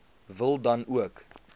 wil dan ook